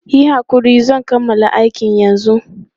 Yi hakuri, zan kammala aikin yanzu.